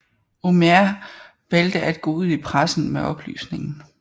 Holmér valgte at gå ud i pressen med oplysningen